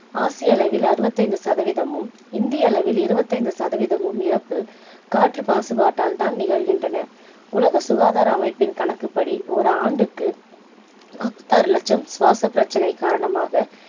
ஆசிய அளவில் அறுபத்து ஐந்து சதவீதமும் இந்திய அளவில் இருபத்து ஐந்து சதவீதமும் இறப்பு காற்று மாசுப்பாட்டால் தான் நிகழ்கின்றன. உலக சுகாதார அமைப்பின் கணக்குப்படி ஒரு ஆண்டுக்கு நாப்பத்து ஆறு லட்சம் சுவாச பிரச்சனை காரணமாக